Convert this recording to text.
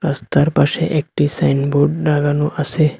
রাস্তার পাশে একটি সাইনবোর্ড লাগানো আসে।